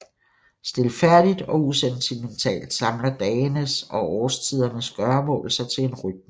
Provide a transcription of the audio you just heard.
Stilfærdigt og usentimentalt samler dagenes og årstidernes gøremål sig til en rytme